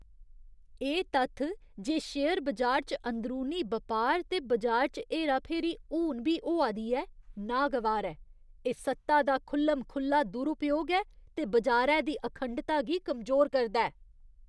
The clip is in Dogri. एह् तत्थ जे शेयर बजार च अंदरूनी बपार ते बजार च हेराफेरी हून बी होआ दी ऐ, नागवार ऐ। एह् सत्ता दा खु'ल्लम खु'ल्ला दुरूपयोग ऐ ते बजारै दी अखंडता गी कमजोर करदा ऐ।